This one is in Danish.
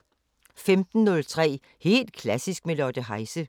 15:03: Helt klassisk – med Lotte Heise 18:03: Filmharmonikerne